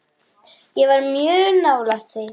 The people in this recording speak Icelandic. Ég var mjög nálægt því.